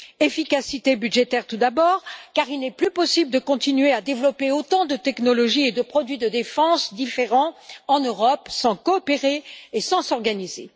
Efficacité budgétaire, tout d'abord, car il n'est plus possible de continuer à développer autant de technologies et de produits de défense différents en Europe sans coopérer et sans s'organiser.